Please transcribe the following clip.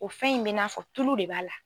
O fɛn in bɛ i n'a fɔ tulu de b'a la.